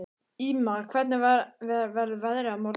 Ýma, hvernig verður veðrið á morgun?